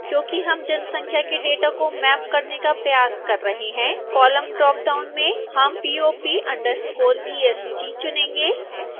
क्योंकि हम जनसंख्या के डेटा को मैप करने का प्रयास कर रहे हैं column ड्रापडाउन में हम pop_est चुनेंगे